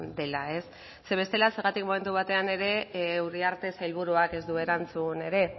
dela zeren bestela zergatik momentu batean ere uriarte sailburuak ez du erantzun ere